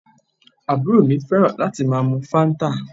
Àbúrò mi fẹ́ràn láti máa mu Fanta